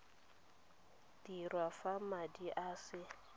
dirwa fa madi a se